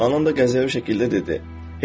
Anam da qəzəbli şəkildə dedi: